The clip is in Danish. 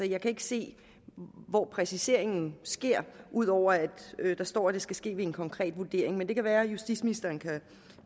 jeg kan ikke se hvor præciseringen sker ud over at der står at det skal ske ved en konkret vurdering men det kan være justitsministeren